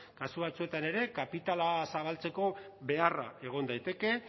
kasu batzuetan ere kapitala zabaltzeko beharra egon daiteke